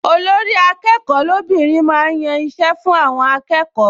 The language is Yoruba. Olórí-akẹ́kọ̀ọ́ lóbìnrin máa ń yan iṣẹ́ fún àwọn akẹ́kọ̀ọ